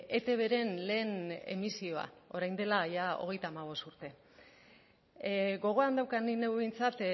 etbren lehen emisioa orain dela jada hogeita hamabost urte gogoan daukat ni neu behintzat